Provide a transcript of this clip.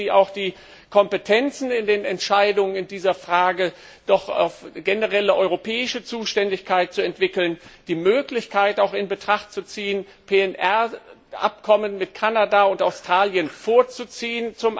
Ich bitte Sie auch, die Kompetenzen in den Entscheidungen in dieser Frage doch auf eine generelle europäische Zuständigkeit auszurichten sowie die Möglichkeit in Betracht zu ziehen, den Abschluss von PNR Abkommen mit Kanada und Australien vorzuziehen.